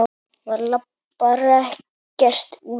Maður labbar ekkert út af.